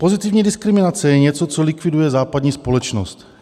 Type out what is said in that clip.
Pozitivní diskriminace je něco, co likviduje západní společnost.